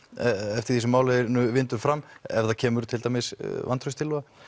eftir því sem málinu vindur fram ef það kemur til dæmis vantrauststillaga